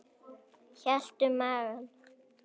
Hélt um magann.